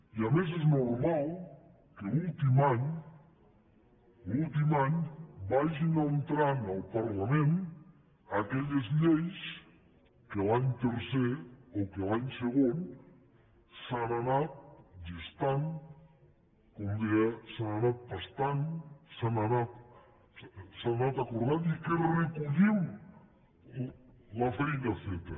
i a més és normal que l’últim any vagin entrant al parlament aquelles lleis que l’any tercer o que l’any segon s’han anat gestant com deia s’han anat pastant s’han anat acordant i que recollim la feina feta